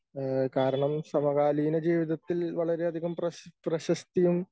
ഏഹ് കാരണം സമകാലീന ജീവിതത്തിൽ വളരെയധികം പ്രശസ് പ്രശസ്തിയും